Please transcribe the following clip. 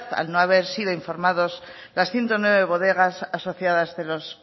al no haber sido informados las ciento nueve bodegas asociadas de los